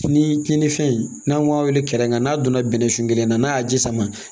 Ni kininfɛn n'an m'a weele kɛn ka n'a donna bɛnnɛsu kelen na n'a y'a ji sama